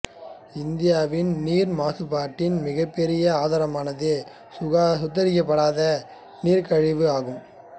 இந்தியாவில் நீர் மாசுபாட்டின் மிகப்பெரிய ஆதாரமானது சுத்திகரிக்கப்படாத கழிவுநீர் ஆகும்